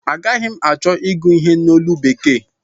Agaghi m achọ ịgụ ihe a n'olu bekee